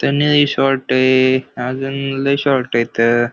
त्या लई शॉर्ट आहे अजून लई शॉर्ट आहे इथ.